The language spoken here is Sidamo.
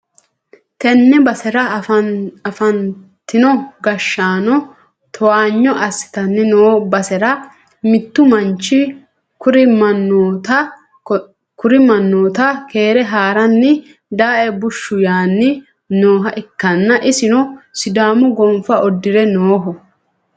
tenne basera afantino gashshaano towaanyo assitanni noo basera mittu manchi kuri mannota keere ha'ranni dae bushshu yaanni nooha ikkanna, isino sidaamu gonfa uddi're nooho.